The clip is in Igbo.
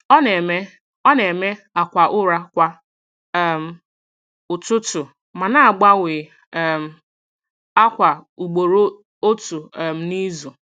Ọ na-eme Ọ na-eme akwa ụra kwa um ụtụtụ ma na-agbanwe um ákwà ugboro otu um n’izu.